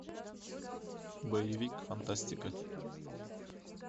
боевик фантастика